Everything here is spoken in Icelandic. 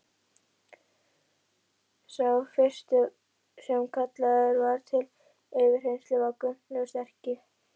Sá fyrsti sem kallaður var til yfirheyrslu var Gunnlaugur sterki.